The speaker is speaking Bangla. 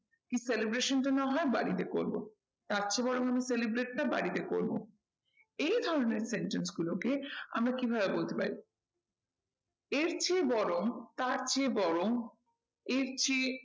কি celebration টা না হয় বাড়িতে করবো। তার চেয়ে বরং আমি celebrate টা বাড়িতে করবো। এই ধরণের sentence গুলোকে আমরা কিভাবে বলতে পারি এর চেয়ে বরং তার চেয়ে বরং এরচেয়ে